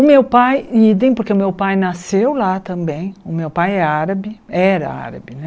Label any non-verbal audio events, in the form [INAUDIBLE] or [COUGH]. O meu pai, [UNINTELLIGIBLE] porque o meu pai nasceu lá também, o meu pai é árabe, era árabe, né?